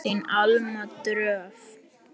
Þín Alma Dröfn.